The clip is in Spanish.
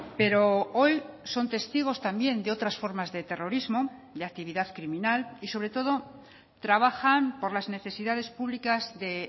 pero hoy son testigos también de otras formas de terrorismo de actividad criminal y sobre todo trabajan por las necesidades públicas de